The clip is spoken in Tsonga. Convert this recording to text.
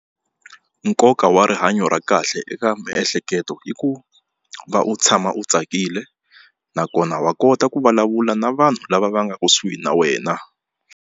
Nkoka wa rihanyo ra kahle eka miehleketo i ku va u tshama u tsakile nakona wa kota ku vulavula na vanhu lava va nga kusuhi na wena.